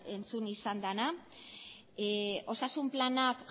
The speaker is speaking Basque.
entzun izan dena osasun planak